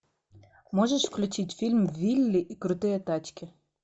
можешь включить фильм вилли и крутые тачки